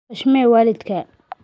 Xushmee waalidkaa